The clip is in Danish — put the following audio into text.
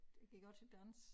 Jeg gik også til dans